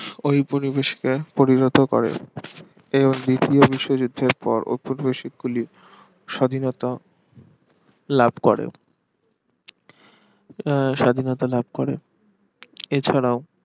ওই পরিবেশকে পরিণত করে এবং দ্বিতীয় বিশ্বযুদ্ধের পর ঔপনিবেশিক গুলি স্বাধীনতা লাভ করে আহ স্বাধীনতা লাভ করে এছাড়াও